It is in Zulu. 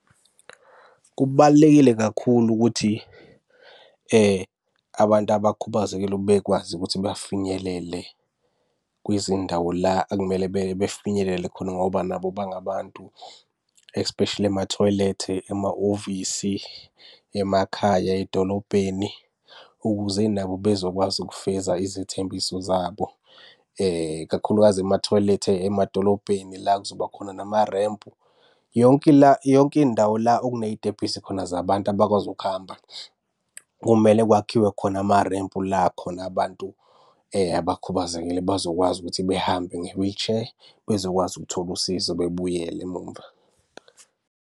Kubalulekile kakhulu ukuthi abantu abakhubazekile ukuthi bekwazi ukuthi bafinyelele kwizindawo la ekumele befinyelele khona ngoba nabo bangabantu. Especially emathoyilethe, emahhovisi, emakhaya, edolobheni, ukuze nabo bezokwazi ukufeza izethembiso zabo, kakhulukazi emathoyilethe emadolobheni la kuzoba khona namarempu. Yonke la, yonke indawo la okuney'tebhisi khona zabantu abakwazi ukuhamba, kumele kwakhiwe khona amarempu la khona abantu abakhubazekile bazokwazi ukuthi behambe nge-wheelchair, bezokwazi ukuthola usizo bebuyele emuva.